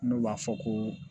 N'o b'a fɔ ko